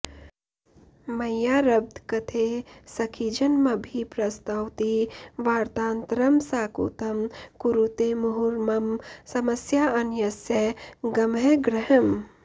मय्यारब्धकथे सखीजनमभिप्रस्तौति वार्तान्तरं साकूतं कुरुते मुहुर्मम समस्याऽन्यस्य गंहग्रहम्